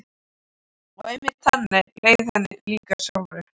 Og einmitt þannig leið henni líka sjálfri.